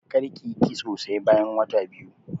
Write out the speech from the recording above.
Karki yi kitso sai bayan wata biyu.